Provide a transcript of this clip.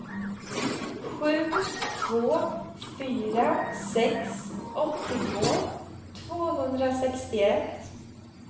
sju två fyra sex åttiotvå tvåhundrasextioett